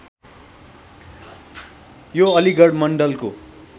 यो अलिगढ मण्डलको